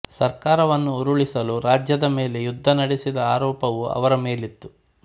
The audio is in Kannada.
ಸರ್ಕಾರವನ್ನು ಉರುಳಿಸಲು ರಾಜ್ಯದ ವಿರುದ್ಧ ಯುದ್ಧ ನಡೆಸಿದ ಆರೋಪವೂ ಅವರ ಮೇಲಿತ್ತು